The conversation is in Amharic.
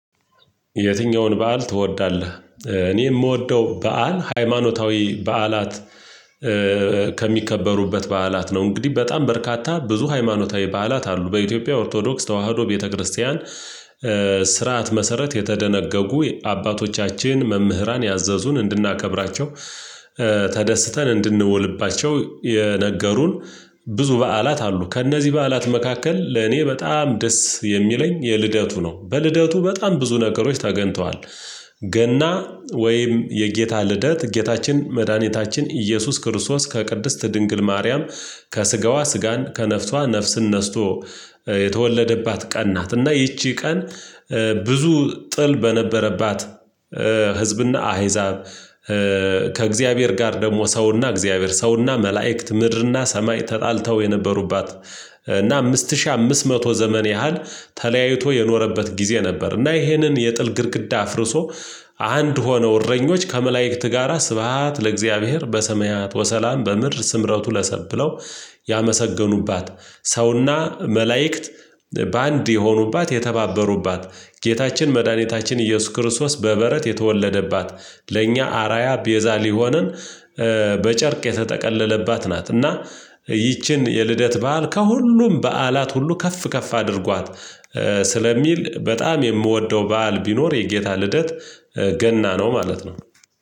የትኛውን በዓል ትወዳለ? እኔ የምወደው በዓል ሃይማኖታዊ በዓላት ከሚከበሩበት በዓላት ነው፤ እንግዲህ በጣም በርካታ ብዙ ሃይማኖታዊ በዓላት አሉ በኢትዮጵያ ኦርቶዶክስ ተዋህዶ ቤተክርስቲያን ስርዓት መሰረት የተደነገጉ የአባቶቻችን መምህራን ያዘዙን እንድናከብራቸው ተደስተን እንድንውልባቸው የነገሩን ብዙ በዓላት አሉ፤ ከእነዚህ በዓላት መካከል ለእኔ በጣም ደስ የሚለኝ የልደቱ ነው በልደቱ በጣም ብዙ ነገሮች ተገንተዋል፤ ገና ወይም የጌታ ልደት ጌታችን መድኃኒታችን ኢየሱስ ክርስቶስ ከቅድስት ድንግል ማርያም ከስጋዋ ስጋን ከነፍቷ ነፍስን ነስቶ የተወለደባት ቀን ናት እና ይቺ ቀን ብዙ ጥል በነበረባት፣ ህዝብና አህዛብ ሰው እና መልእክት ምድር እና ሰማይ ተጣልተው የነበሩባት እና አምስት ሺህ አምስት መቶ ዘመን ያህል ተለያይቶ የኖረበት ጊዜ ነበር እና ይሄንን የጥል ግድግዳ አፍርሶ አንድ ሆነው እረኞች ከመላእክት ጋራ ስብሃት ለእግዚአብሔር በሰማያት ወሰላም በምድር ስምረቱ ለሰብዕ ብለው ያመሰገኑባት ሰውና መላእክት በአንድ የሆኑባት የተባበሩባት ጌታችን መድኃኒታችን ኢየሱስ ክርስቶስ በበረት የተወለደባት ለእኛ አራያ ቤዛ ሊሆንን በጨርቅ የተጠቀለለባት ናት እና ይቺን የልደት በዓል ከሁሉም በዓላት ሁሉ ከፍ ከፍ አድርጓት ስለሚል በጣም የምወደው በዓል ቢኖር የጌታ ልደት ገና ነው ማለት ነው።